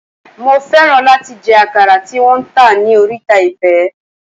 Mo fẹ́ràn láti jẹ àkàrà tí wón ń tà ní oríta Ifẹ̀.